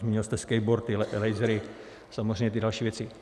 Zmínil jste skateboardy, lasery, samozřejmě ty další věci.